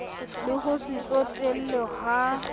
le ho se tsotelle ha